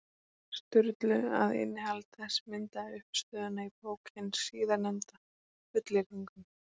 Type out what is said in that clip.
Sturlu, að innihald þess myndaði uppistöðuna í bók hins síðarnefnda, fullyrðingum.